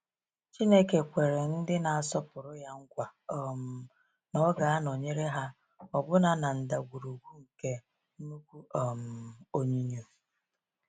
Chineke kwere ndị na-asọpụrụ Ya nkwa um na Ọ ga-anọnyere ha ọbụna n’ “ndagwurugwu nke nnukwu um onyinyo.”